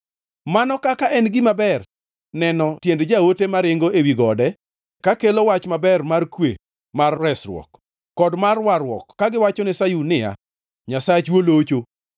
Mano kaka en gima ber neno tiend joote maringo ewi gode kakelo wach maber, mar kwe, mar resruok, kod mar warruok kagiwachone Sayun niya, “Nyasachu olocho!”